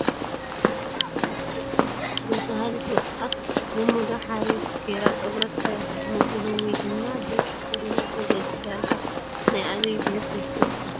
ደስ በሃሊት ወጣት ብሙዳ ሓሪፍ ገይራ ፀጉራ ተሰሪሓ ፣ መጎልበቢ ወይ ድማ ድርዒ ተኸዲና ፈገግ ኢላ ኣላ ፡ ናይ ኣበይ ብሄር ትመስለኩም ?